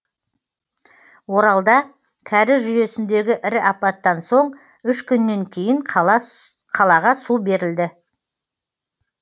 оралда кәріз жүйесіндегі ірі апаттан соң үш күннен кейін қалаға су берілді